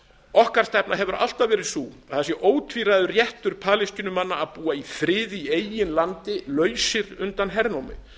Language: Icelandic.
okkar stefna hefur alltaf verið sú að það sé ótvíræður réttur palestínumanna að búa í friði í eigin landi lausir undan hernámi